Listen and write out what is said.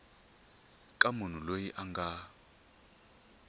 ka munhu loyi a nga